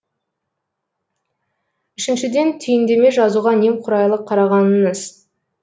үшіншіден түйіндеме жазуға немқұрайлы қарағаныңыз